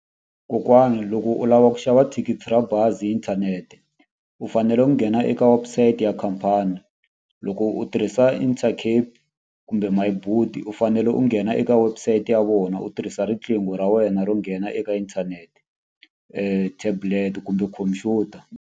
Kokwana loko u lava ku xava thikithi ra bazi inthanete, u fanele u nghena eka website ya khampani. Loko u tirhisa Intercape kumbe My Boet, u fanele u nghena eka website ya vona u tirhisa riqingho ra wena ro nghena eka inthanete. Tablet kumbe khumpyuta.